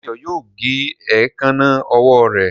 Dayo yóò gé Èékánná ọwọ́ rẹ.